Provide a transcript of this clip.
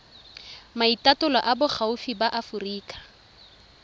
maitatolo a boagi ba aforika